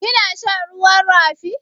Kina shan ruwan rafi?